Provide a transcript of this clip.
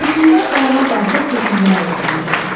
Hökmdar ayağa qalxıb hökmdar olduğunu dedi.